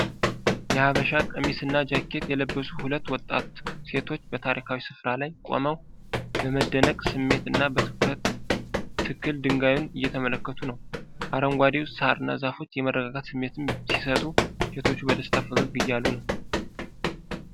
የሐበሻ ቀሚስና ጃኬት የለበሱ ሁለት ወጣት ሴቶች በታሪካዊ ስፍራ ላይ ቆመው በመደነቅ ስሜት እና በትኩረት ትክል ድንጋዩን እየተመለከቱ ነው። አረንጓዴው ሳርና ዛፎች የመረጋጋት ስሜት ሲሰጡ ሴቶቹ በደስታ ፈገግ እያሉ ነው።